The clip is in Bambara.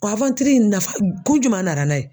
O in nafa kun juma nara n'a ye?